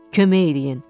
Kömək eləyin.